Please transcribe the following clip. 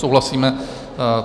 Souhlasíme.